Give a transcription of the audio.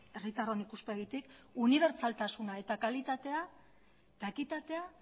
herritarron ikuspegitik unibertsaltasuna kalitatea eta ekitatea